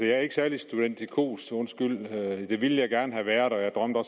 er ikke særlig studentikos undskyld det ville jeg gerne have været og